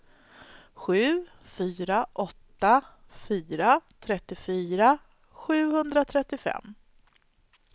sju fyra åtta fyra trettiofyra sjuhundratrettiofem